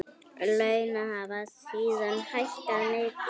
Laun hafa síðan hækkað mikið.